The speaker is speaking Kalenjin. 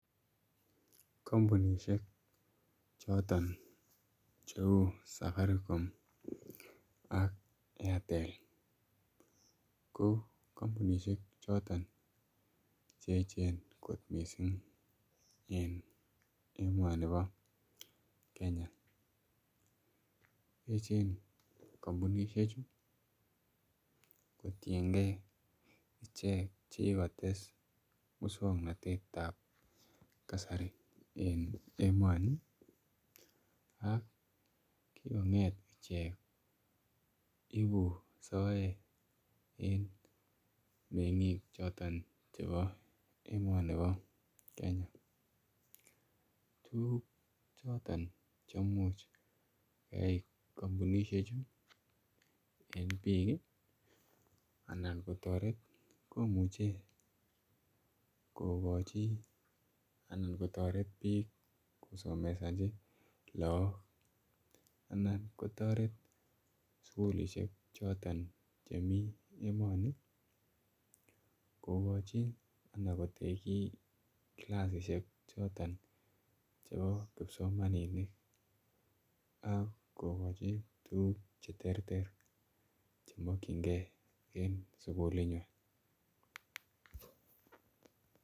Kampunishek choton cheu safaricom ak airtel ko kampunishek choton cheechen kot mising emoni po Kenya echen kampunishek chu kotiengei ichek chekikotes musongnotet ap kasari eng emoni ak kikong'et icheget ibu soet en meng'ik choton chebo emoni bo Kenya tukuk choton cheimuch koyai kampunishek chu en biik anan ko toret komuchei kokoch chii anan kotoret biik kosomesonchi laak anan kotoret sukulishek choton chemi emoni kokochi ana kotekchi kilasishek choton chebo kipsomaninik akokochin tukuk che ter ter chemakchinigei en sukul nywan